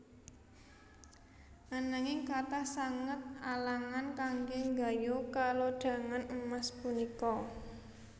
Ananging kathah sanget alangan kanggé nggayuh kalodhangan emas punika